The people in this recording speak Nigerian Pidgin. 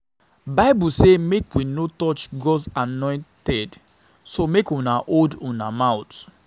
Bible say make we no touch God's anointed so make una hold una hold una mouth